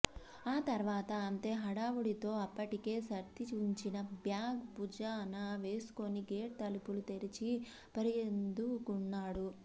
ఆ తర్వాత అంతే హడావుడితో అప్పటికే సర్ది ఉంచిన బ్యాగ్ భుజాన వేసుకుని గేట్ తలుపులు తెరచి పరుగందుకున్నాడు